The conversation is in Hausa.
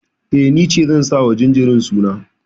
Eh, ni ce zan sa wa jinjirin suna.